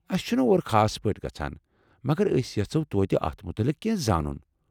اسہِ چھُنہٕ اور خاص پٲٹھۍ گژھان، مگر أسۍ یژھوٚ توتہِ اتھ متعلق کٮ۪نٛہہ زانُن۔